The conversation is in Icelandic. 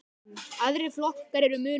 Aðrir flokkar eru mun minni.